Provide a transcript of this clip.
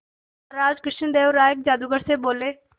महाराज कृष्णदेव राय जादूगर से बोले